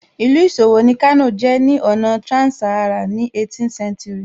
Ìlú ìṣòwò ni Kano jẹ́ ní ọ̀nà trans-Saharan ní 18th century